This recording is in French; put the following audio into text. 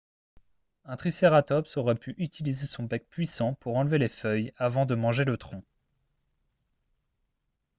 un tricératops aurait pu utiliser son bec puissant pour enlever les feuilles avant de manger le tronc